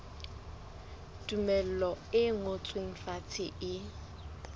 tumello e ngotsweng fatshe e